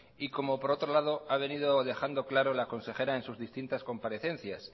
y como por otro lado ha venido dejando claro la consejera en sus distintas comparecencias